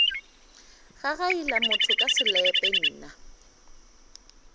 gagaila motho ka selepe nna